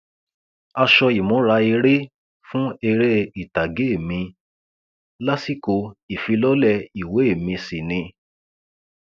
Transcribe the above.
aṣọ ìmúra eré fún eré ìtàgé mi lásìkò ìfilọlẹ ìwé mi sí ni